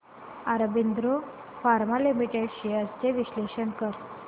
Aurobindo pharma limited shares चे विश्लेषण कर